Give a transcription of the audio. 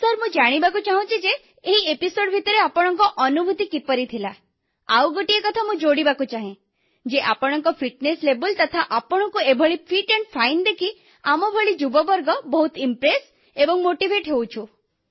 ସାର ମୁଁ ଜାଣିବାକୁ ଚାହିଁବି ଯେ ଏହି ଅଧ୍ୟାୟ ଭିତରେ ଆପଣଙ୍କ ଅନୁଭୂତି କିପରି ଥିଲା ଆଉ ଗୋଟିଏ କଥା ମୁଁ ଯୋଡ଼ିବାକୁ ଚାହେଁ ଯେ ଆପଣଙ୍କ ଫିଟନେସ୍ ଲେଭେଲ୍ ତଥା ଆପଣଙ୍କୁ ଏଭଳି ଫିଟ୍ ଆଣ୍ଡ୍ ଫାଇନ୍ ଦେଖି ଆମଭଳି ଯୁବବର୍ଗ ବହୁତ ପ୍ରଭାବିତ ଏବଂ ଉତ୍ସାହିତ ହୋଇଛୁ